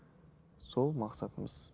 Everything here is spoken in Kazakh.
сол мақсатымыз